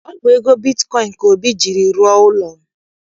Ọ bụ ego bitkọịn ka Obi jiiri rụọ ụlọ.